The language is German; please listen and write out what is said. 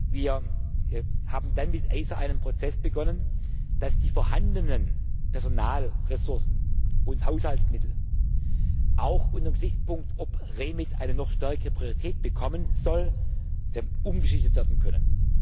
Wir haben dann mit ACER einen Prozess begonnen, dass die vorhandenen Personalressourcen und Haushaltsmittel auch unter dem Gesichtspunkt, ob REMIT eine noch stärkere Priorität bekommen soll, umgeschichtet werden können.